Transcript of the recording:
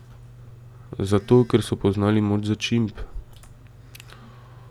Zato, ker so poznali moč začimb.